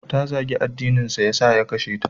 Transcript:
Ta zagi addininsa da ya sa ya kashe ta.